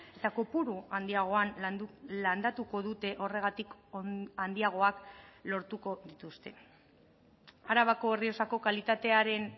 eta kopuru handiagoan landatuko dute horregatik handiagoak lortuko dituzte arabako errioxako kalitatearen